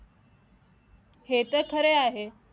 हे तर खरे आहे